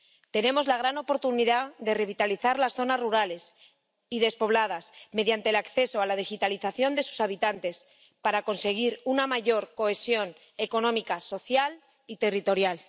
Tenemos la gran oportunidad de revitalizar las zonas rurales y despobladas mediante el acceso a la digitalización de sus habitantes, para conseguir una mayor cohesión económica, social y territorial.